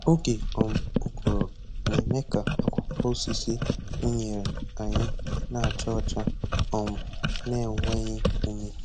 Oge um ụgụrụ na-eme ka akwụkwọ osisi unere anyị na acha ọcha um na enweghị ume.